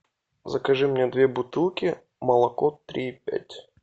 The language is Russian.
закажи мне две бутылки молоко три и пять